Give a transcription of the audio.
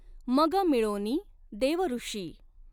मग मिळोनि देवऋषी।